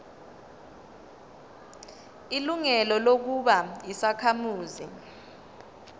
ilungelo lokuba yisakhamuzi